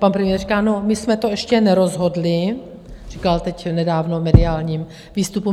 Pan premiér říká, no, my jsme to ještě nerozhodli, říkal teď nedávno v mediálním výstupu.